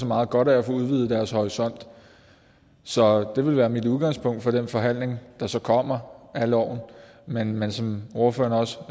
meget godt af at få udvidet deres horisont så det vil være mit udgangspunkt for den forhandling der så kommer om loven men men som ordføreren også